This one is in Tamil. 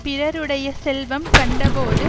பிறருடைய செல்வம் கண்டபோது